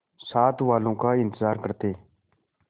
साथ वालों का इंतजार करते